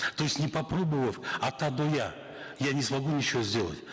то есть не попробовав от а до я я не смогу ничего сделать